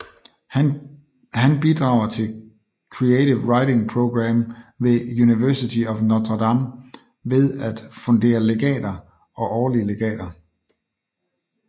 Han bidrager til Creative Writing Program ved University of Notre Dame ved at fundere legater og årlige legater